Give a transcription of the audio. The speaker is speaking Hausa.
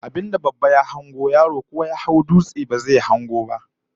Abin da babba ya hango, yaro ko ya hau dutse ba zai hango ba, karin magana mai kwatanta yara da manya